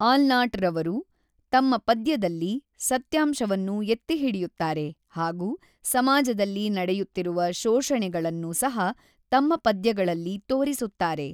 ಆಲ್ನಾಟ್ ರವರು ತಮ್ಮ ಪದ್ಯದಲ್ಲಿ ಸತ್ಯಂಶವನ್ನು ಎತ್ತಿಹಿಡಿಯುತ್ತಾರೆ ಹಾಗೂ ಸಮಾಜದಲ್ಲಿ ನಡೆಯುತ್ತಿರುವ ಶೊಷಣೆಗಳನ್ನು ಸಹ ತಮ್ಮ ಪದ್ಯಗಳಲ್ಲಿ ತೋರಿಸುತ್ತಾರೆ.